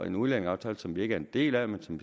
en udlændingeaftale som vi ikke er en del af men som